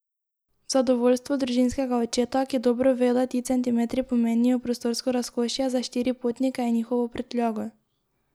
V zadovoljstvo družinskega očeta, ki dobro ve, da ti centimetri pomenijo prostorsko razkošje za štiri potnike in njihovo prtljago.